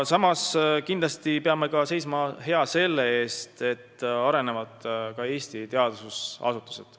Samas peame kindlasti seisma hea selle eest, et arenevad ka Eesti teadusasutused.